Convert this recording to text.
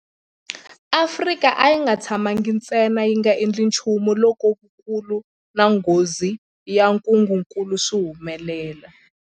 Afrika a yi nga tshamangi ntsena yi nga endli nchumu loko vukulu na nghozi ya ntungukulu swi humelela.